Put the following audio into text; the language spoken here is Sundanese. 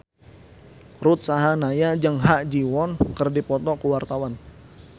Ruth Sahanaya jeung Ha Ji Won keur dipoto ku wartawan